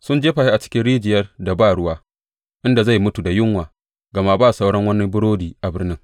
Sun jefa shi cikin rijiyar da ba ruwa, inda zai mutu da yunwa gama ba sauran wani burodi a birnin.